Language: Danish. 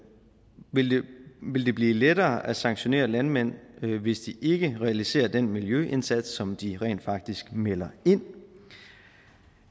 vil det blive lettere at sanktionere landmænd hvis de ikke realiserer den miljøindsats som de rent faktisk melder ind